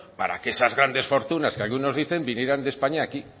para que esas grandes fortunas que algunos dicen vinieran de españa a aquí